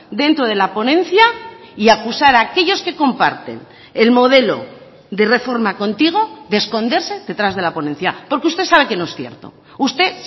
dentro de la ponencia y acusar a aquellos que comparten el modelo de reforma contigo de esconderse detrás de la ponencia porque usted sabe que no es cierto usted